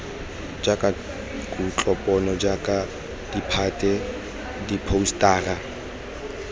tsa kutlopono jaaka ditphate diphousetara